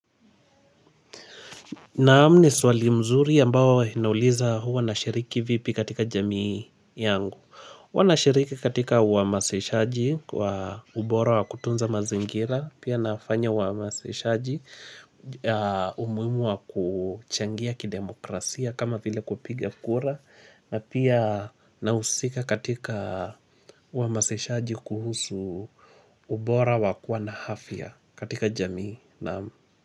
Naam, ni swali mzuri ambao inauliza huwa nashiriki vipi katika jamii yangu. Huwa nashiriki katika uamasishaji wa ubora wa kutunza mazingira. Pia nafanya uamasishaji umuhimu wa kuchangia kidemokrasia kama vile kupiga kura. Na pia nahusika katika uamasishaji kuhusu ubora wa kuwa na afya katika jamii, naam.